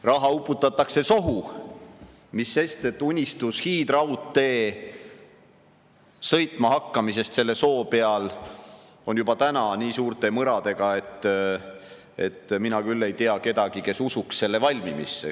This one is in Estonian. Raha uputatakse sohu, mis sest, et unistus hiidraudtee sõitma hakkamisest selle soo peal on juba täna nii suurte mõradega, et mina küll ei tea kedagi, kes usuks selle valmimisse.